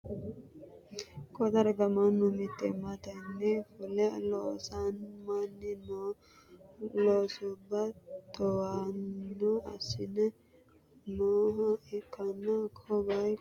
ko darga mannu mittimmatenni fule losamanni noo loosubba towaanyo assanni nooha ikkanna, ko bayichono masimarunni darroonni doogora way wo'me noota hattono, sabbitino doogoti.